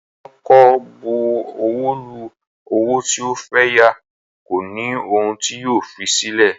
Wọn kò bu ọwọ́ lu owó tí o fẹ́ yá, kò ní ohun tí yóò fi sílẹ̀